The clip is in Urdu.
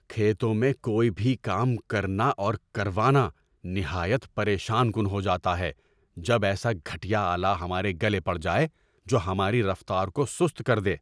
کھیتوں میں کوئی بھی کام کرنا اور کروانا نہایت پریشان کن ہو جاتا ہے جب ایسا گھٹیا آلہ ہمارے گلے پڑ جائے جو ہماری رفتار کو سست کر دے۔